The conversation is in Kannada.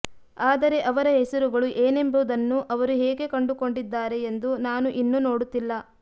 ಆದರೆ ಅವರ ಹೆಸರುಗಳು ಏನೆಂಬುದನ್ನು ಅವರು ಹೇಗೆ ಕಂಡುಕೊಂಡಿದ್ದಾರೆ ಎಂದು ನಾನು ಇನ್ನೂ ನೋಡುತ್ತಿಲ್ಲ